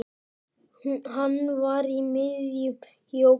Hann var í miðjum jóga